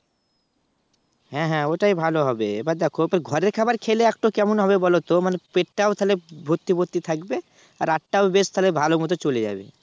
হ্যাঁ হ্যাঁ ওটাই ভালো হবে এবার দেখো তো ঘরের খাবার খেলে একটু কেমন হবে বলতো মনে পেটটাও তাহলে ভর্তি ভর্তি থাকবে আর রাতটা তাহলে বেশ ভালোমতো চলে যাবে।